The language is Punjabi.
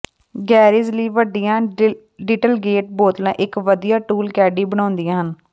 ਗੈਰੇਜ ਲਈ ਵੱਡੀਆਂ ਡਿਟਲਗੇਂਟ ਬੋਤਲਾਂ ਇਕ ਵਧੀਆ ਟੂਲ ਕੈਡੀ ਬਣਾਉਂਦੀਆਂ ਹਨ